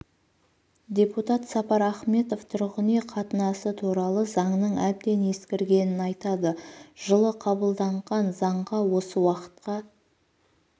депутат сапар ахметов тұрғын үй қатынасы туралы заңның әбден ескіргенін айтады жылы қабылданған заңға осы уақытқа